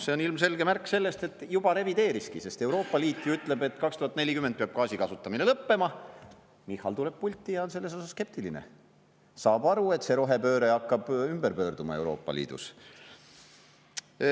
See on ilmselge märk sellest, et juba ta revideeriski: Euroopa Liit ju ütleb, et 2040 peab gaasi kasutamine lõppema, Michal tuleb pulti ja on selles osas skeptiline, saab aru, et rohepööre hakkab ümber pöörduma Euroopa Liidus.